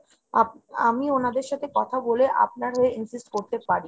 আমি ওনাদের সাথে কথা বলে আপনাকে হয়ে insist করতে পারি।